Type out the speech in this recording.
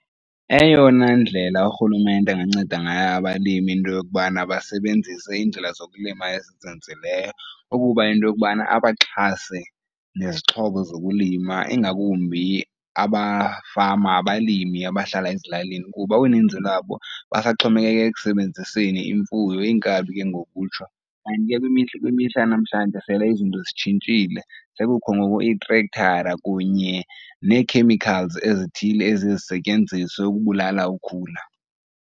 Eyona ndlela urhulumente anganceda ngayo abalimi into yokubana basebenzise iindlela zokulima ezizinzileyo, ukuba into yokubana abaxhase nezixhobo zokulima ingakumbi abafama abalimi abahlala ezilalini kuba uninzi lwabo basaxhomekeke ekusebenziseni imfuyo, iinkabi ke ngokutsho. Kanti ke kwimihla yanamhlanje sele izinto zitshintshile sekukho ngoku itrektara kunye nee-chemicals ezithile eziye zisetyenziswe ukubulala ukhula.